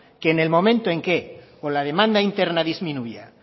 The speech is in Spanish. que en el momento en que o la demanda interna disminuya